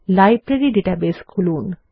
library database খুলুন